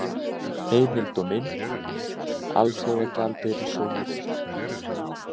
Heimild og mynd: Alþjóðagjaldeyrissjóðurinn.